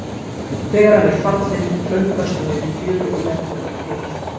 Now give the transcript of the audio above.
Þegar hann er fallinn, klöngrast hún niður í fjöru og leggur hann til.